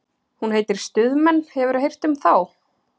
Hún heitir Stuðmenn, hefurðu heyrt um þá?